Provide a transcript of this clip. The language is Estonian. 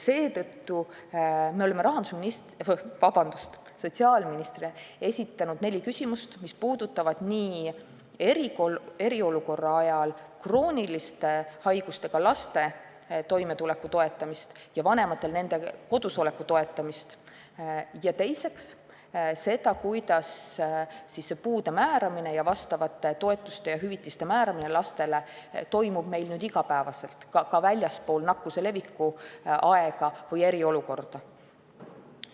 Seetõttu oleme esitanud sotsiaalministrile neli küsimust, mis puudutavad eriolukorra ajal krooniliste haigustega laste toimetuleku ja nende vanemate kodusoleku toetamist ning teiseks seda, kuidas lastele puude ning vastavate toetuste ja hüvitiste määramine toimub meil nüüd igapäevaselt, ka väljaspool nakkuse leviku aega või eriolukorda.